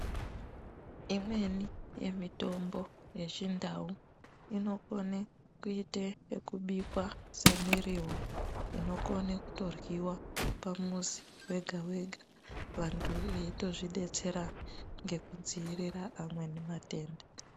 Imweni yemitombo yechindau inokone kuita ekubikwa semiriwo inokona kutodyriwa pamuzi wega wega vantu veitozvidetsera ngekudziirira amweni matenda.